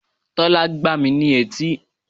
Tólá gbá mi ní etí